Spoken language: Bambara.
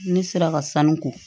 Ne sera ka sanu ko